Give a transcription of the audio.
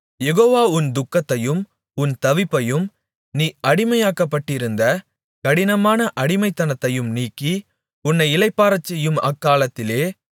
யெகோவா உன் துக்கத்தையும் உன் தவிப்பையும் நீ அடிமையாக்கப்பட்டிருந்த கடினமான அடிமைத்தனத்தையும் நீக்கி உன்னை இளைப்பாறச் செய்யும் அக்காலத்திலே